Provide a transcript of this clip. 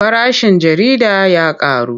Farashin jarida ya ƙaru.